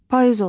Payız olur.